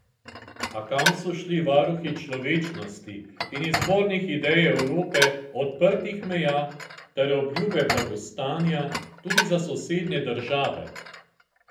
A kam so šli varuhi človečnosti in izvornih idej Evrope odprtih meja ter obljube blagostanja tudi za sosednje države?